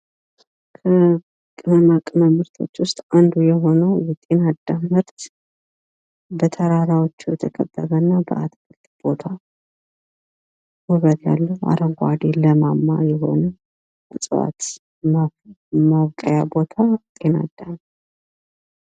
ቅመማ ቅመም ምርቶች ውስጥ አንዱ የሆነው ጢንአዳም በተራሮች የተከበበና በአትክልት የተያዘ አረንጓዴ ለማማ የሆነ መሬት ያለው እፅዋት እና ማብቀያ ቦታ ያለው ጢንአዳም።